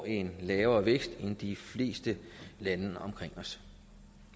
en lavere vækst end de fleste lande omkring os